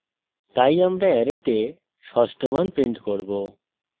তাই আমরা অ্যারেতে ষষ্ঠ মান print করব